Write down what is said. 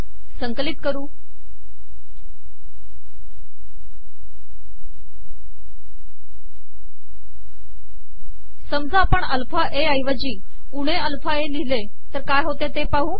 समजा आपण alpha A ऐवजी उणे अलफा ए िलिहले